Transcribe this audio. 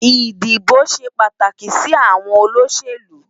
Idibó ṣé pàtáki si áwòn ólóṣélú